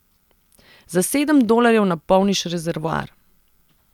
Za sedem dolarjev napolniš rezervoar.